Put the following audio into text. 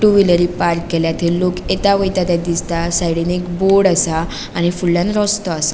To wheeler park केल्या थंय लोक येता वयता ते दिसता साइडीन एक बोर्ड असा आणि फूडल्याण रस्तों असा.